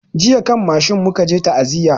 Jiya kan mashin mu ka je ta'aziya